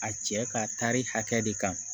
A cɛ ka taari hakɛ de kan